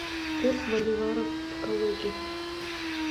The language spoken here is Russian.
курс боливара в калуге